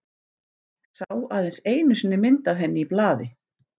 Sá aðeins einu sinni mynd af henni í blaði.